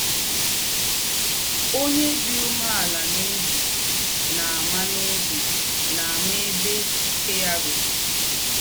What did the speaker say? Ònyè dí úmèàlà n’óbí nà-àmà n’óbí nà-àmà èbè íké yá rùrú.